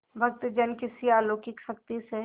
भक्तजन किसी अलौकिक शक्ति से